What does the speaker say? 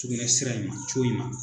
Sugunɛsira in ma in ma